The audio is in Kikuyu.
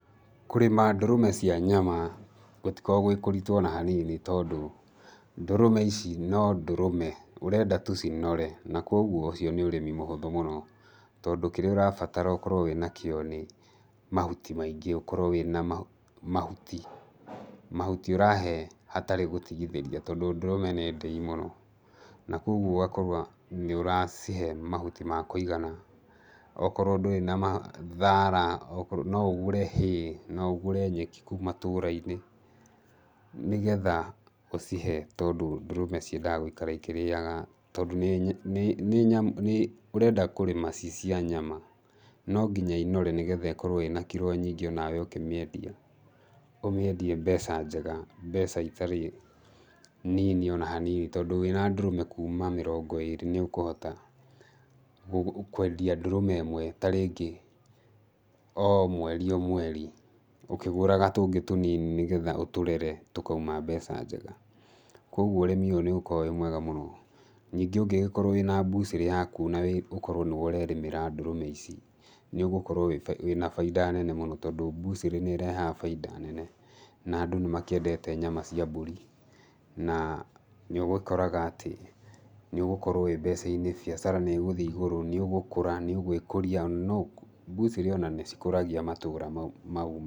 Kũrĩma ndũrũme cia nyama gũtikoragwo gwĩ kũritũ ona hanini tondũ, ndũrũme ici no ndũrũme ũrenda tũ cinore na koguo ũcio nĩ ũrĩmi mũhũthũ mũno. Tondũ kĩrĩa ũrabatara ũkorũo wĩna kĩo nĩ mahũti maingĩ, ũkorwo wĩna mahũ mahũti , mahũti ũrahe hatarĩ gũtigithĩria, tondũ ndũrũme nĩ ndĩi mũno. Na koguo ũgakorwo nĩũracihe mahũti ma kũigana, okorũo ndũrĩ na mahũ thaara, okorwo ndũ no ũgũre hay, no ũgũre nyeki kũu matũra-inĩ nĩgetha ũcihe tondũ ndũrũme ciendaga gũikara ikĩrĩaga tondũ nĩ, nĩ nyam, ũrenda kũrĩma ci cia nyama. Nonginya ĩnore nĩgatha ĩkorũo ĩna kiro nyingĩ nĩgetha onawe ũkĩmĩendia ũmĩendie mbeca njega, mbeca itari nini ona hanini, tondũ wĩna ndũrũme kũma mĩrongo ĩrĩ nĩũkũhota kwendia ndũrũme ĩmwe tarĩngĩ o mweri o mweri, ũkĩgũraga tũngĩ tũnini, nĩgetha ũtũrere tũkaũma mbeca njega. Koguo, ũrĩmi ũyũ nĩũkoragwo wĩ mwega mũno. Ningĩ ũngĩgĩkorwo wĩna mbũcĩrĩ yakũ na ũkorwo nĩwe ũrerĩmĩra ndũrũme ici nĩũgũkorwo wĩna bainda nene mũno tondũ, mbucĩrĩ nĩĩrehaga bainda nene, na andũ nĩmakĩendete nyama cia mbũri. Na nĩũgĩkoraga atĩ nĩũgũkorwo wĩ mbeca-inĩ, biacara nĩĩgũthiĩ igũrũ, nĩũgũkũra, nĩũgwĩkũria ona mbũcĩrĩ ona nĩcikũragia matũra, mau...